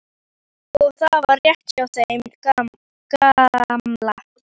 Og það var rétt hjá þeim gamla.